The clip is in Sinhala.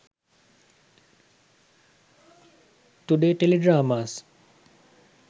today teledramas